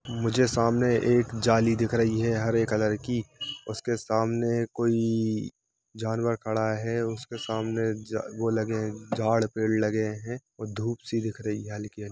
मुझे सामने एक जली दिख रही है हरे कलर की उसके सामने कोई जानवर खड़ा है उसके सामने ज वो लगे है झाड़ पेड़ लगे है और धुप सी दिख रही है हल्की-हल्की ।